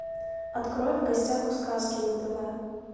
открой в гостях у сказки на тв